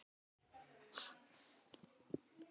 Kallaði á Júlíu.